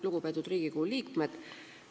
Lugupeetud Riigikogu liikmed!